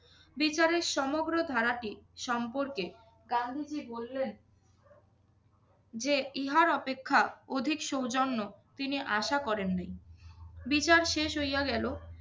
বিচারের সমগ্র ধারাটি সম্পর্কে গান্ধীজি বললেন যে ইহার অপেক্ষা অধিক সৌজন্য তিনি আশা করেন নি। বিচার শেষ হইয়া গেলো।